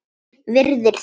Virðir þá.